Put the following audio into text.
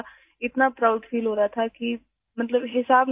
میں اتنا فخر محسوس کر رہی تھی کہ جس کا کوئی حساب نہیں تھا